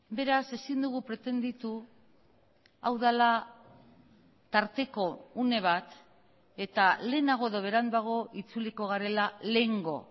beraz ezin dugu pretendituhau dela tarteko une bat eta lehenago edo beranduago itzuliko garela lehengo